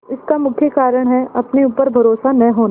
इसका मुख्य कारण है अपने ऊपर भरोसा न होना